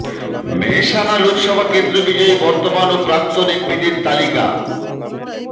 মেহসানা লোকসভা কেন্দ্র বিজয়ী বর্তমান ও প্রাক্তন এমপিদের তালিকা